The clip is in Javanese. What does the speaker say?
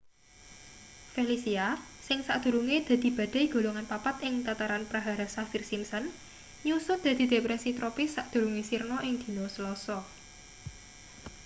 felicia sing sadurunge dadi badai golongan 4 ing tataran prahara saffir-simpson nyusut dadi depresi tropis sadurunge sirna ing dina selasa